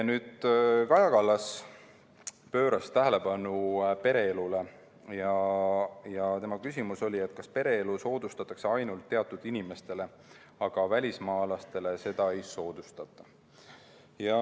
Kaja Kallas juhtis tähelepanu pereelule ja tema küsimus oli, kas pereelu soodustatakse ainult teatud inimestel, aga välismaalastel seda ei soodustata.